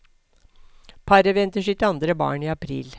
Paret venter sitt andre barn i april.